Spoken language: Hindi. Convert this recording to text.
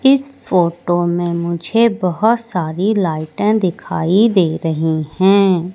इस फोटो में मुझे बहोत सारी लाइटें दिखाई दे रही हैं।